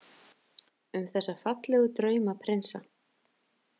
Um þessa fallegu draumaprinsa.